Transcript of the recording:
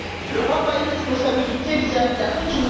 L'Europe a une responsabilité vis à vis de l'Afrique.